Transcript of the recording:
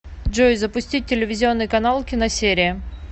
джой запустить телевизионный канал киносерия